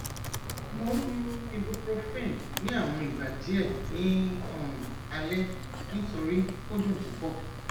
mo n mu ibuprofen ni awọn igba diẹ ni um alẹ nitori o dun pupọ